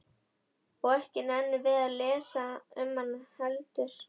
Og ekki nennum við að lesa um hana heldur?